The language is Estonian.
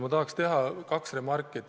Ma tahan teha kaks remarki.